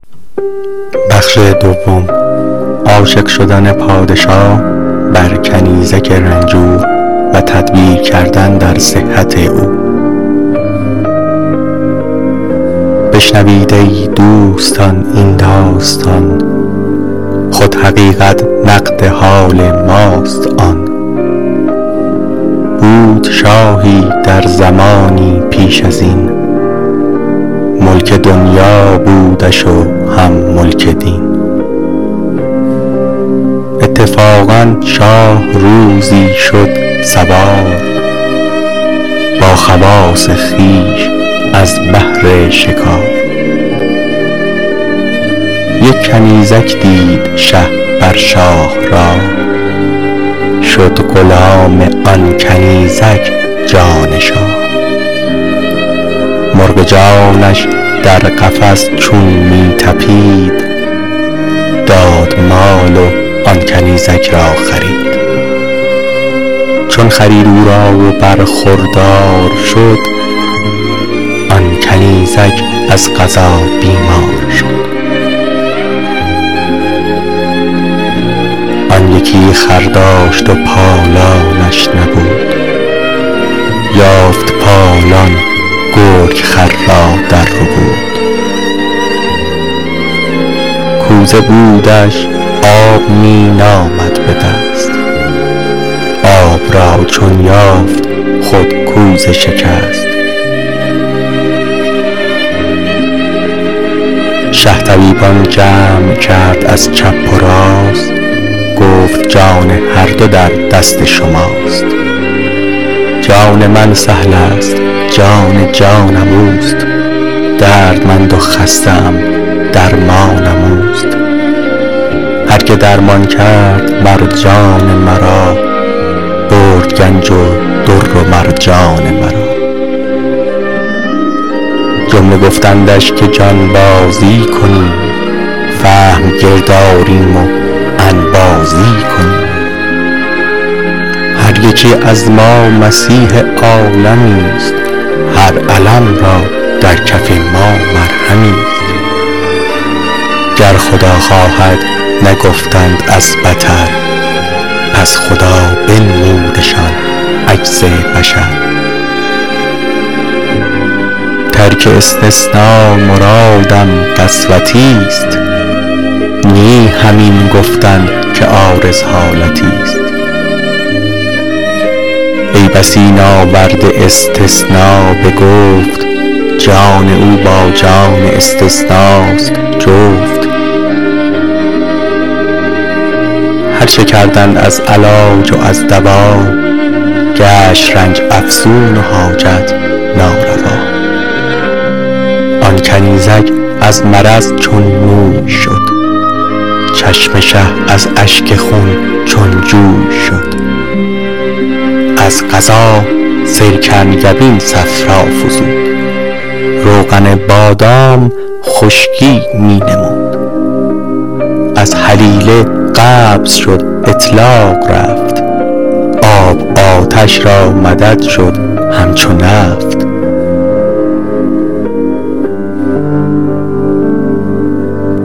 بشنوید ای دوستان این داستان خود حقیقت نقد حال ماست آن بود شاهی در زمانی پیش ازین ملک دنیا بودش و هم ملک دین اتفاقا شاه روزی شد سوار با خواص خویش از بهر شکار یک کنیزک دید شه بر شاه راه شد غلام آن کنیزک پادشاه مرغ جانش در قفس چون می طپید داد مال و آن کنیزک را خرید چون خرید او را و برخوردار شد آن کنیزک از قضا بیمار شد آن یکی خر داشت پالانش نبود یافت پالان گرگ خر را در ربود کوزه بودش آب می نامد بدست آب را چون یافت خود کوزه شکست شه طبیبان جمع کرد از چپ و راست گفت جان هر دو در دست شماست جان من سهلست جان جانم اوست دردمند و خسته ام درمانم اوست هر که درمان کرد مر جان مرا برد گنج و در و مرجان مرا جمله گفتندش که جانبازی کنیم فهم گرد آریم و انبازی کنیم هر یکی از ما مسیح عالمیست هر الم را در کف ما مرهمیست گر خدا خواهد نگفتند از بطر پس خدا بنمودشان عجز بشر ترک استثنا مرادم قسوتی ست نه همین گفتن که عارض حالتی ست ای بسا ناورده استثنا به گفت جان او با جان استثناست جفت هرچه کردند از علاج و از دوا گشت رنج افزون و حاجت ناروا آن کنیزک از مرض چون موی شد چشم شه از اشک خون چون جوی شد از قضا سرکنگبین صفرا فزود روغن بادام خشکی می نمود از هلیله قبض شد اطلاق رفت آب آتش را مدد شد همچو نفت